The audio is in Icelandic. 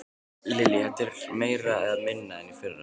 Lillý: Er þetta meira eða minna en í fyrra?